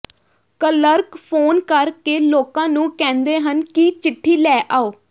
clerk phone ਕਰਕੇ ਲੋਕਾਂ ਨੂੰ ਕਹਿੰਦੇ ਹਨ ਕਿ ਚਿੱਠੀ ਲੈ ਆਓ